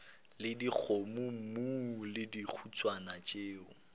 le dikgomommuu le dihuswane tšeo